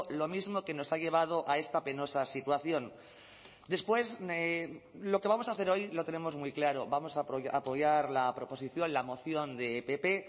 lo mismo que nos ha llevado a esta penosa situación después lo que vamos a hacer hoy lo tenemos muy claro vamos a apoyar la proposición la moción de pp